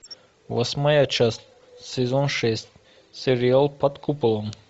восьмая часть сезон шесть сериал под куполом